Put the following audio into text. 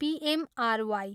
P M R Y.